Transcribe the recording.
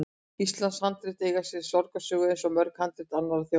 Íslensk handrit eiga sér sorgarsögu, eins og mörg handrit annarra þjóða.